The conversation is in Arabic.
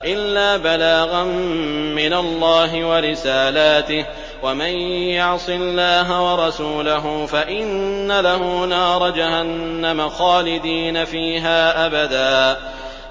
إِلَّا بَلَاغًا مِّنَ اللَّهِ وَرِسَالَاتِهِ ۚ وَمَن يَعْصِ اللَّهَ وَرَسُولَهُ فَإِنَّ لَهُ نَارَ جَهَنَّمَ خَالِدِينَ فِيهَا أَبَدًا